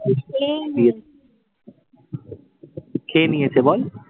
খেয়ে নিয়েছে বল?